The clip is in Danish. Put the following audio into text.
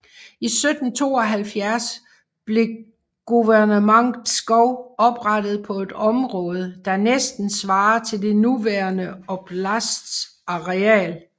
I 1772 blev Guvernement Pskov oprettet på et område der næsten svarer til den nuværende oblasts areal